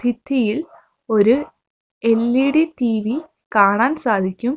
ഭിത്തിയിൽ ഒരു LED TV കാണാൻ സാധിക്കും.